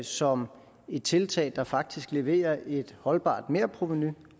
som et tiltag der faktisk leverer et holdbart merprovenu